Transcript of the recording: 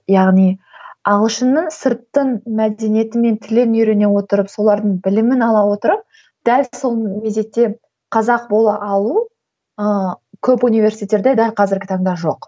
яғни ағылшынның сыртын мәдениеті мен тілін үйрене отырып солардың білімін ала отырып дәл сол мезетте қазақ бола алу ыыы көп университетте дәл қазіргі таңда жоқ